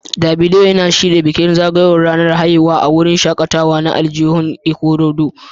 Davido yana shirya bikin zagayowar ranar haihuwa a wurin shakatawa na aljihun Ikorodu